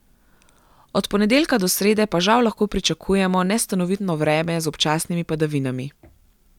Od ponedeljka do srede pa žal lahko pričakujemo nestanovitno vreme z občasnimi padavinami.